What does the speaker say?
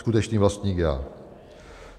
Skutečný vlastník - Já."